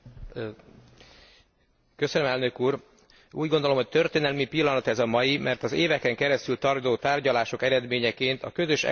Úgy gondolom, hogy történelmi pillanat ez a mai, mert az éveken keresztül tartó tárgyalások eredményeként a közös európai adásvételi jog plenáris vitájában vehetünk részt.